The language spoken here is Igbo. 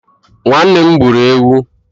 Nwannem gburu ewu